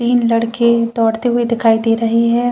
तीन लड़के दौड़ते हुए दिखाई दे रहे है।